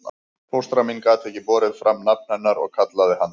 Fóstra mín gat ekki borið fram nafn hennar og kallaði hana